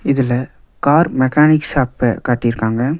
இதுல car mechanic shop காட்டி இருக்காங்க.